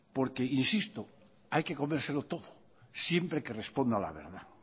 porque insisto hay que comérselo todo siempre que responda a la verdad